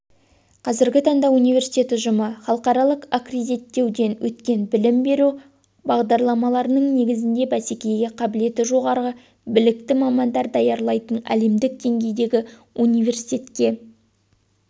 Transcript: қазіргі таңда университет ұжымы халықаралық аккредиттеуден өткен білім беру бағдарламаларының негізінде бәсекеге қабілетті жоғары білікті мамандар даярлайтын әлемдік деңгейдегі университетке